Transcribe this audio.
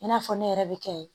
I n'a fɔ ne yɛrɛ bɛ kɛ ye